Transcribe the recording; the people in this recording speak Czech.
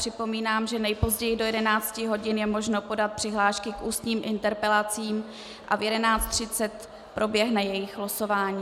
Připomínám, že nejpozději do 11 hodin je možné podat přihlášky k ústním interpelacím a v 11.30 proběhne jejich losování.